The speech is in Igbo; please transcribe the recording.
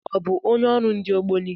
Ọ bụ onye ọrụ ndị Ogboni?